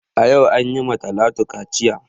Yau an yi ma Talatu kaciya